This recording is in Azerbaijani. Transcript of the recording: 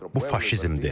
Bu faşizmdir.